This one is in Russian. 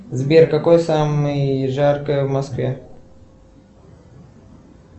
сбер какой самый жаркое в москве